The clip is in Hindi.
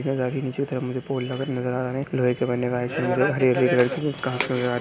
यहा गाड़ी नीचे तरफ मुझे पोल नज़र आ रहा है। लोहे के बने हुए व्हाइट सा हरी-हरी एक लड़की --